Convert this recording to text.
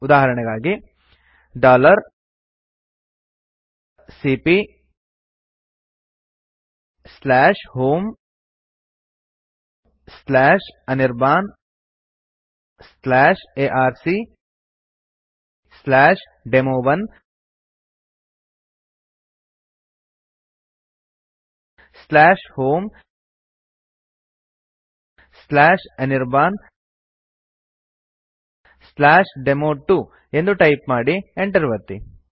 ಉದಾಹರಣೆಗಾಗಿ ಸಿಪಿಯ homeanirbanarcdemo1 homeanirbandemo2 ಎಂದು ಟೈಪ್ ಮಾಡಿ enter ಒತ್ತಿ